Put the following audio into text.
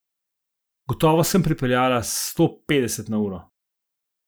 Gotovo sem pripeljala s sto petdeset na uro.